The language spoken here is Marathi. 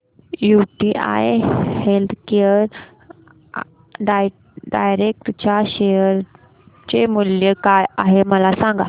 यूटीआय हेल्थकेअर डायरेक्ट च्या शेअर चे मूल्य काय आहे मला सांगा